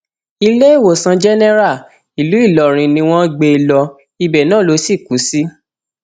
iléèwòsàn jẹnẹrà ìlú ìlọrin ni wọn gbé e lọ ibẹ náà ló sì kù sí